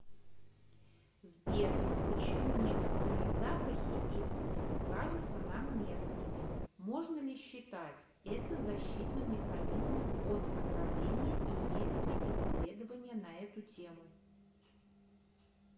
сбер почему некоторые запахи и вкусы кажутся нам мерзкими можно ли считать это защитным механизмом от отравления и есть ли исследования на эту тему